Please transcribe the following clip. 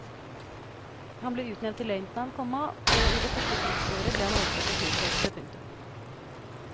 Han ble utnevnt til løytnant, komma og i det første krigsåret ble han overført til flykorpset. punktum